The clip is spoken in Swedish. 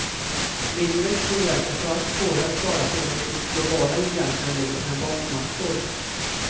Mindre tillverkare får allt svårare att klara sig när de globala giganterna lägger sina bombmattor.